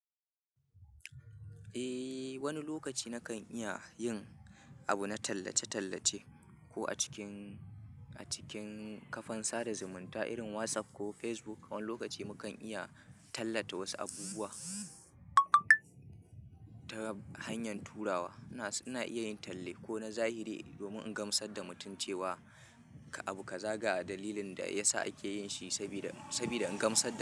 Eh, wani lokaci nakan iya yin abu na tallace-tallace ko a cikin, a cikin kafan sada zumunta irin WhatsApp ko Facebook. Wani lokaci mukan iya tallata wasu abubuwa ta hanyar turawa. Ina, ina iya yin talle ko na zahiri domin in gamsar da mutum cewa abu ka za ga dalilin da ya sa ake yin shi, sabida, sabida in gamsar da.